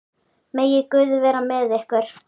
Megi Guð vera með ykkur.